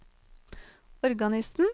organisten